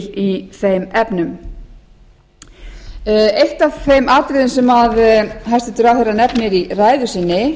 í þeim efnum eitt af þeim atriðum sem hæstvirtur ráðherra nefnir í ræðu sinni